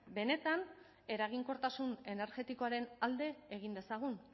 benetan eraginkortasun energetikoaren alde egin dezagun